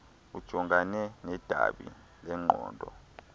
ujongane nedabi lengqondo